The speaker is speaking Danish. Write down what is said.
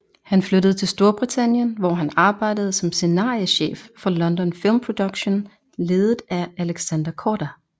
Han flyttede til Storbritannien hvor han arbejdede som scenariechef for London Film Productions ledet af Alexander Korda